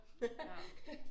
Ja